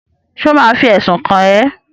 Ṣé ò ma fi ẹ̀sùn kàn ẹ́?